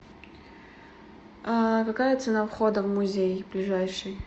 какая цена входа в музей ближайший